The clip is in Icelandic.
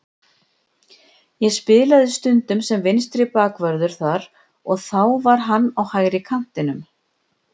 Ég spilaði stundum sem vinstri bakvörður þar og þá var hann á hægri kantinum.